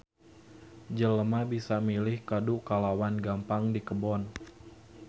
Jelema bisa milih kadu kalawan gampang di kebon.